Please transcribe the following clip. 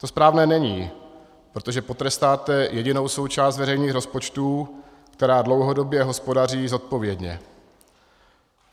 To správné není, protože potrestáte jedinou součást veřejných rozpočtů, která dlouhodobě hospodaří zodpovědně.